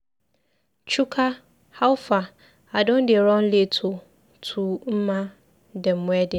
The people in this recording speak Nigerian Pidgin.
Chuka, howfar, I don dey run late oo to Mma dem wedding.